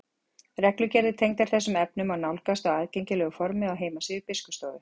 reglugerðir tengdar þessum efnum má nálgast á aðgengilegu formi á heimasíðu biskupsstofu